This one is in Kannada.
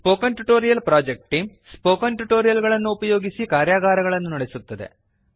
spoken tutorial project team spoken tutorial ಗಳನ್ನು ಉಪಯೋಗಿಸಿ ಕಾರ್ಯಾಗಾರಗಳನ್ನು ನಡೆಸುತ್ತದೆ